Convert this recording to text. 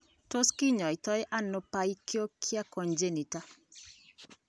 Tos kinaita ano Pachyonychia congenita?